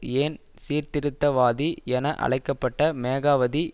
ஏன் சீர்திருத்தவாதி என அழைக்க பட்ட மேகாவதி